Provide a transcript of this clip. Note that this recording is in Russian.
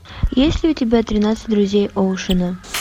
есть ли у тебя тринадцать друзей оушена